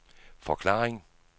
forklaring